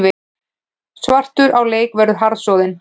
Svartur á leik verður harðsoðin